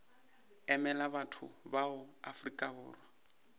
emela batho ba afrika borwa